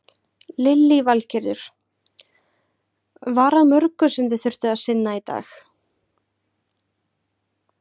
Lillý Valgerður: Var að mörgu sem þið þurftu að sinna í dag?